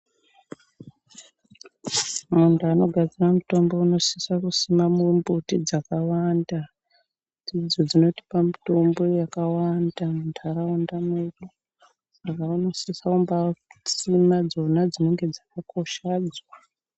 Vantu vanogadzira mitombo vanosise kusima mumbuti dzakawanda, ndidzo dzinotipa mitombo yakawanda muntaraunda mwedu, saka vanosisa kusima dzona dzinenge dzakakoshadzo.